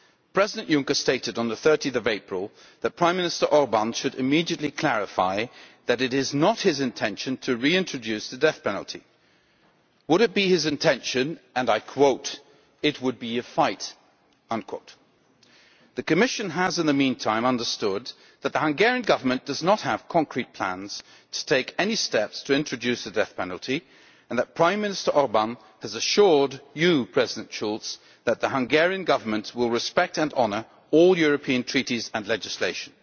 President Juncker stated on 30 April that Prime Minister Orbán should immediately clarify that it is not his intention to reintroduce the death penalty. If that were his intention, and I quote, it would be a fight'. The Commission has in the meantime understood that the Hungarian Government does not have concrete plans to take any steps to introduce the death penalty, and that Prime Minister Orbán has assured you, President Schulz, that the Hungarian Government will respect and honour all European Treaties and legislation.